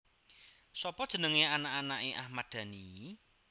Sopo jenenge anak anake Ahmad Dhani